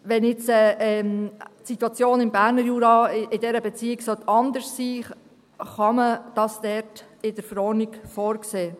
Wenn jetzt die Situation im Berner Jura in dieser Beziehung anders sein soll, kann man das in der Verordnung vorsehen.